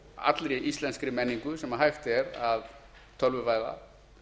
allri íslenskri menningu sem hægt er að tölvuvæða